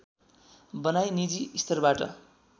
बनाई निजी स्तरबाट